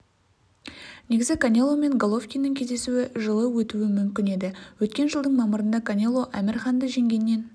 негізі канело мен головкиннің кездесуі жылы өтуі мүмкін еді өткен жылдың мамырында канело әмір ханды жеңгеннен